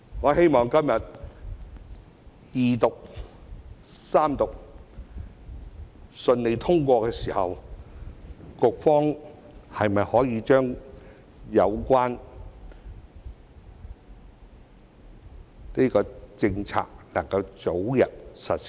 我希望今天《條例草案》順利通過二讀、三讀後，局方可以將有關的政策早日實施。